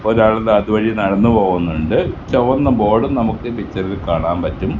ഒരാൾ താ അതുവഴി നടന്നു പോകുന്നുണ്ട് ചൊവന്ന ബോർഡ് നമുക്ക് പിക്ചറിൽ കാണാൻ പറ്റും.